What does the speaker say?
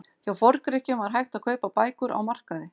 Hjá Forngrikkjum var hægt að kaupa bækur á markaði.